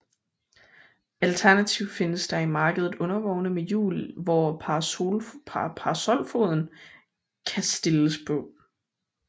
Alternativt findes der i markedet undervogne med hjul hvor parasolfoden kan stilles på